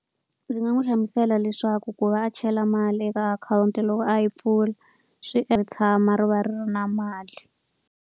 Ndzi nga n'wi hlamusela leswaku ku va a chela mali eka akhawunti loko a yi pfula, swi tshama ri va ri na mali.